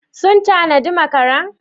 Sun tanadi makara?